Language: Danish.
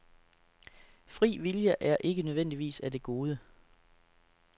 Fri vilje er ikke nødvendigvis af det gode.